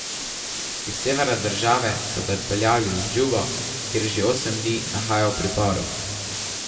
Iz severa države so ga odpeljali v Džubo, kjer se že osem dni nahaja v priporu.